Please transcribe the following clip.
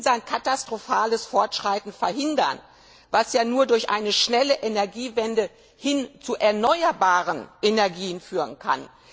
Wir müssen sein katastrophales Fortschreiten verhindern, was nur über eine schnelle Energiewende hin zu erneuerbaren Energien führen kann.